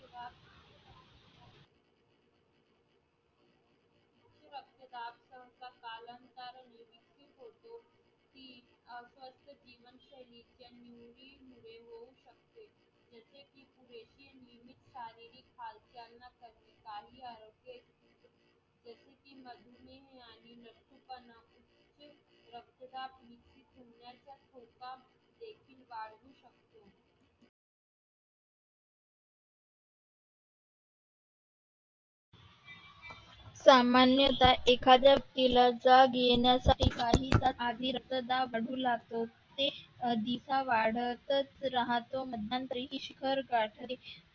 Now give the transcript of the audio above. सामान्यतः एखाद्या व्यक्तीला जाग येण्यासाठी काही तास आधी रक्तदाब वाढू लागतो ते अधिकच वाढतच राहतो. मध्यंतरी ईश्वर गाठी